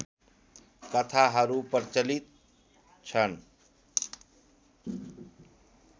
कथाहरू प्रचलित छन्